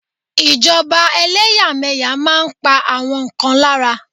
Ìjọba eléyàméyà máa n pa àwọn kan lára